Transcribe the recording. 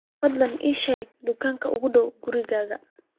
fadlan ii sheeg dukaanka ugu dhow gurigayga